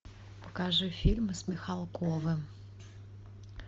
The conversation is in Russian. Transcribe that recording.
покажи фильмы с михалковым